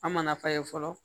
An mana fa ye fɔlɔ